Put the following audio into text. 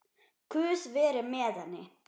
Guð veri með henni.